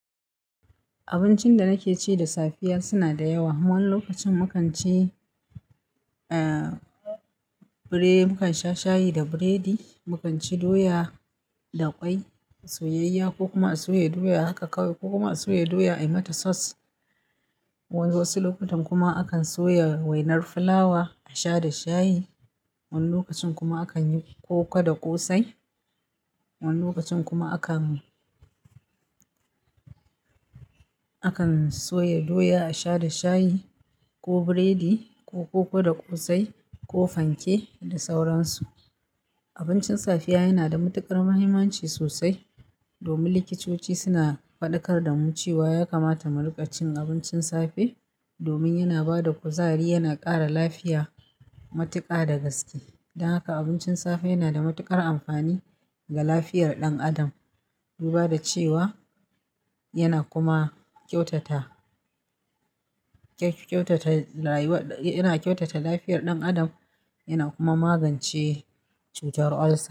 Abincin da nake ci da safiya suna da yawa. Wani lokacin mu kan ci, ah biredi, mu kan sha shayi da biredi, mu kan ci doya da ƙwai, soyayya ko kuma a soya doya haka kawai ko kuma a soya doya ai mata sauce. Wasu lokutan kuma akan soya wainar fulawa a sha da shayi. Wani lokacin kuma akan yi koko da ƙosai. Wani lokacin kuma akan akan soya doya a sha da shayi ko biredi ko koko da ƙosai ko fanke da sauransu. Abincin safiya yana da matuƙar muhimmanci sosai domin likitoci suna faɗakar da mu cewa ya kamata mu riƙa cin abincin safe domin yana ba da kuzari, yana ƙara lafiya matuƙa da gaske. Don haka abincin safe yana da matuƙar amfani ga lafiyar ɗan adam. Duba da cewa yana kuma kyautata, kyautata rayuwar, yana kyautata lafiyar ɗan adam, yana kuma magance cutar ulcer.